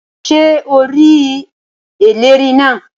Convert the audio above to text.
Ṣé o rí ẹlẹ́rìí náà?